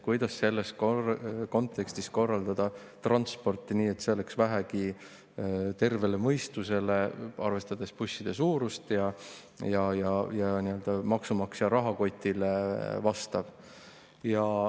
Kuidas selles kontekstis korraldada transporti nii, et see vastaks vähegi tervele mõistusele, arvestades busside suurust ja maksumaksja rahakotti?